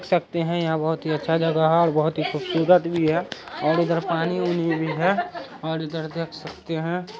सकते हैं यहाँ बहुत ही अच्छा जगह है बहोत ही खूबसूरत भी है और इधर पानी-उनी भी है और इधर देख सकते हैं।